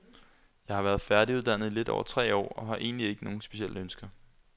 Jeg har været færdiguddannet i lidt over tre år og har egentlig ikke nogen specielle ønsker.